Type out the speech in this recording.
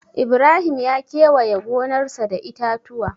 Ibrahim ya kewaye gonarsa da itatuwa.